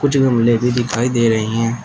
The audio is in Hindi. कुछ गमले भी दिखाई दे रही हैं।